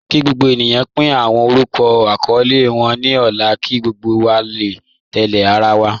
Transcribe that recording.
Kí gbogbo ènìyàn pín awọn orúkọ àkọọlẹ wọn ní ọ̀la kí gbogbo wa lè tẹ̀lẹ̀ àrà wa.